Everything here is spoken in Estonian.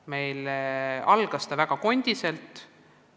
Kõik algas väga raskelt.